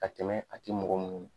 Ka tɛmɛ a te mɔgɔ munnu na.